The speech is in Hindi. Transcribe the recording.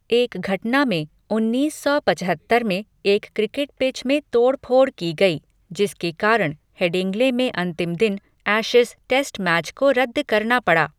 एक घटना में उन्नीस सौ पचहत्तर में एक क्रिकेट पिच में तोड़ फोड़ की गई, जिसके कारण हेडिंग्ले में अंतिम दिन एशेज टेस्ट मैच को रद्द करना पड़ा।